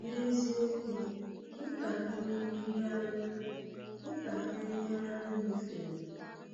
N’eziokwu, ntakịrị ihe anyị ntakịrị ihe anyị nyefere